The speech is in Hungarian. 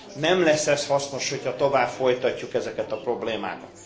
Nem lesz ez hasznos, hogyha tovább folytatjuk ezeket a problémákat.